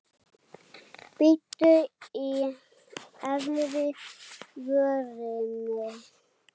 Bít í efri vörina.